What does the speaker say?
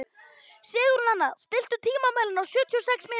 Sigurnanna, stilltu tímamælinn á sjötíu og sex mínútur.